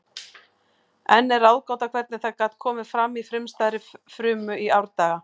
Enn er ráðgáta hvernig það gat komið fram í frumstæðri frumu í árdaga.